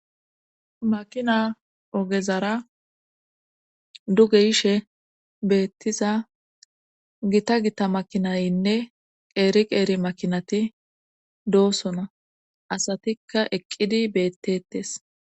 makina ogezara duge yishe beettiza gita gita makinaynne qeeri qeeri makinati doosona asatikka eqqidi beettettes